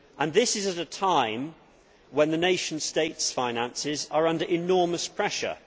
This is at a time when the nation states' finances are under enormous pressure.